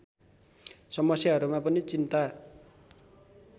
समस्याहरूमा पनि चिन्ता